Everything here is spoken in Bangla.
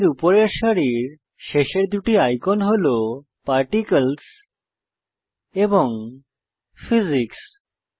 প্যানেলের উপরের সারির শেষের দুটি আইকন হল পার্টিকলস এবং ফিজিক্স